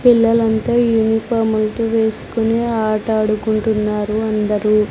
పిల్లలంతా యూనిఫామ్ ఐతే వేస్కుని ఆట ఆడుకుంటున్నారు అందరూ.